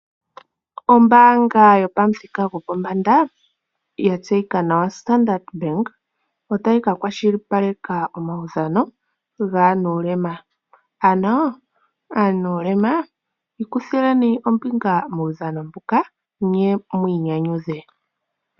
Ombaanga yopamuthika gwopombanda yatseyika nawa Standard Bank, otayi ka kwashilipaleka omawudhano gaanulema. Ano aanulema ikuthileni ombinga muudha mbuka, nye mwiinyanyudhe.